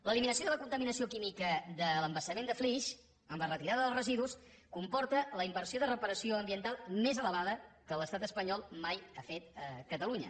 l’eliminació de la contaminació química de l’embassament de flix amb la retirada dels residus comporta la inversió de reparació ambiental més elevada que l’estat espanyol mai ha fet a catalunya